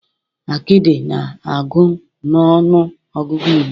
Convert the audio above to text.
Akidi na-agụ na ọnụ ọgụgụ Igbo.